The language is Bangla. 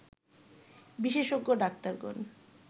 বিশেষজ্ঞ ডাক্তারগণ